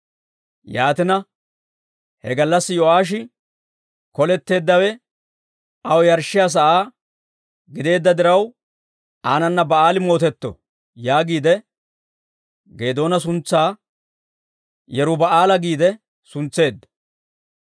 Yaatina, he gallassi Yo'aashi, «Koletteeddawe aw yarshshiyaa sa'aa gideedda diraw, aanana Ba'aali mootetto» yaagiide Geedoona suntsaa Yeruba'aala giide suntseedda.